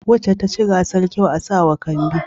Wacce ta ci gasar kyau a sa wa kambi